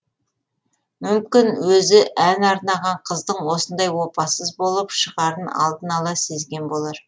мүмкін өзі ән арнаған қыздың осындай опасыз болып шығарын алдын ала сезген болар